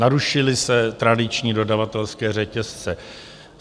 Narušily se tradiční dodavatelské řetězce.